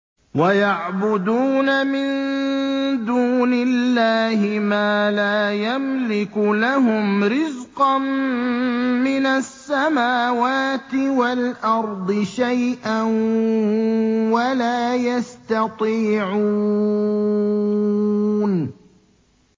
وَيَعْبُدُونَ مِن دُونِ اللَّهِ مَا لَا يَمْلِكُ لَهُمْ رِزْقًا مِّنَ السَّمَاوَاتِ وَالْأَرْضِ شَيْئًا وَلَا يَسْتَطِيعُونَ